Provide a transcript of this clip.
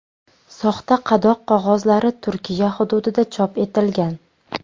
Soxta qadoq qog‘ozlari Turkiya hududida chop etilgan.